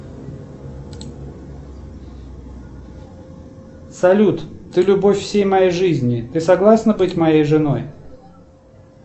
салют ты любовь всей моей жизни ты согласна быть моей женой